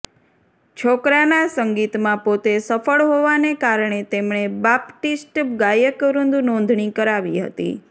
છોકરાના સંગીતમાં પોતે સફળ હોવાને કારણે તેમણે બાપ્ટિસ્ટ ગાયકવૃંદ નોંધણી કરાવી હતી